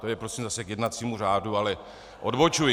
To je prosím zase k jednacímu řádu, ale odbočuji.